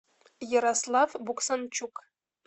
ярослав буксанчук